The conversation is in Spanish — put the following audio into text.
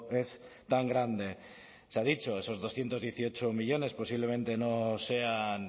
es tan grande se ha dicho esos doscientos dieciocho millónes posiblemente no sean